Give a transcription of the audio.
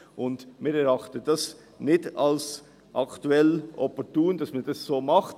Aktuell erachten wir es nicht als opportun, dass man dies so macht.